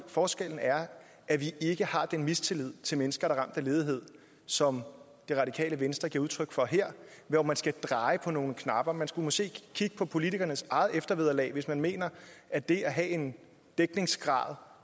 forskellen er at vi ikke har den mistillid til mennesker der er af ledighed som det radikale venstre giver udtryk for her hvor man skal dreje på nogle knapper man skulle måske kigge på politikernes eget eftervederlag hvis man mener at det at have en dækningsgrad